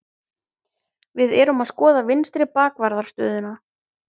Við erum að skoða vinstri bakvarðar stöðuna.